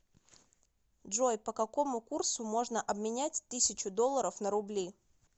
джой по какому курсу можно обменять тысячу долларов на рубли